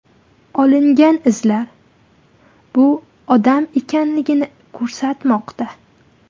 Olingan izlar bu odam ekanligini ko‘rsatmoqda.